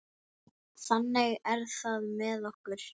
Þannig er það með okkur.